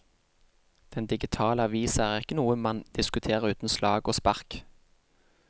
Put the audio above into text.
Den digitale avisa er ikke noe man diskuterer uten slag og spark.